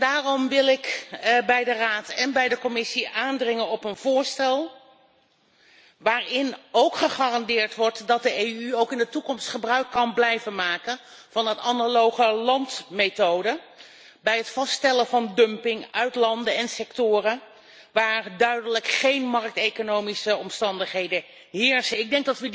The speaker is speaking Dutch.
Daarom wil ik bij de Raad en bij de Commissie aandringen op een voorstel waarin ook gegarandeerd wordt dat de EU ook in de toekomst gebruik kan blijven maken van de analoge landmethode bij het vaststellen van dumping uit landen en sectoren waar duidelijk geen markteconomische omstandigheden aanwezig zijn.